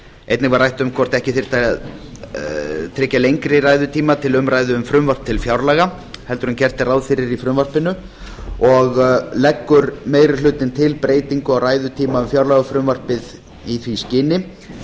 einnig var rætt um það hvort ekki þyrfti að tryggja lengri ræðutíma til umræðu um frumvarp til fjárlaga en gert er ráð fyrir í frumvarpinu leggur meiri hlutinn til breytingu á ræðutíma um fjárlagafrumvarpið í því skyni